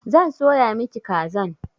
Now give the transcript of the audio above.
Zan soya miki kazan.